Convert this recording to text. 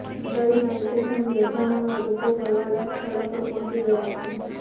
દિવાળીના વેકેશનની રજા માણવા લોકો ફરવાલાયક સ્થળો પર પહોંચી ગયા છે